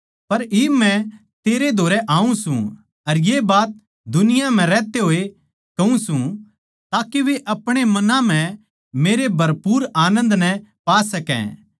पर इब मै तेरै धोरै आऊँ सूं अर ये बात दुनिया म्ह रहते होए कहूँ सूं ताके वे अपणे मनां म्ह मेरे भरपूर आनन्द नै पा सकै